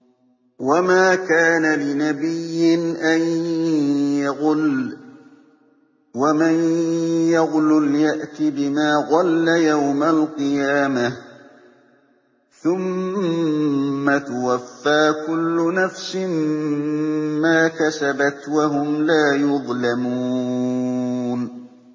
وَمَا كَانَ لِنَبِيٍّ أَن يَغُلَّ ۚ وَمَن يَغْلُلْ يَأْتِ بِمَا غَلَّ يَوْمَ الْقِيَامَةِ ۚ ثُمَّ تُوَفَّىٰ كُلُّ نَفْسٍ مَّا كَسَبَتْ وَهُمْ لَا يُظْلَمُونَ